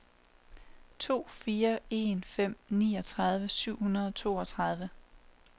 to fire en fem niogtredive syv hundrede og treogtredive